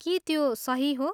के त्यो सही हो?